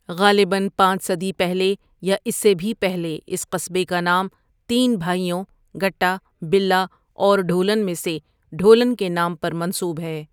غالبا پانچ صدی پہلے یا اس سے بھی پہلے اس قصبے کا نام تین بھائیوں گٹا، بلا اور ڈھولن میں سے ڈھولن کے نام پر منسوب ہے ۔